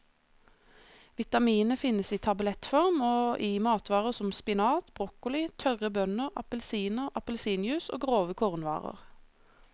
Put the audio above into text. Vitaminet finnes i tablettform og i matvarer som spinat, broccoli, tørre bønner, appelsiner, appelsinjuice og grove kornvarer.